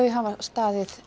hafa staðið